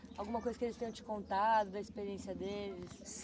Alguma coisa que eles tenham te contado da experiência deles?